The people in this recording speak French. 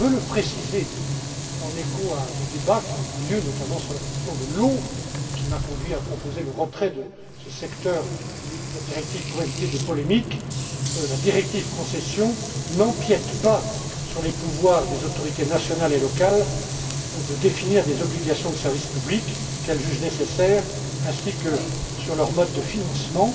Je veux le préciser, en écho à des débats qui ont eu lieu notamment sur la question de l'eau et qui m'ont conduit à proposer le retrait de ce secteur de la directive pour éviter des polémiques la directive sur les concessions n'empiète pas sur les pouvoirs des autorités nationales et locales de définir les obligations de service public qu'elles jugent nécessaires, ainsi que leur mode de financement.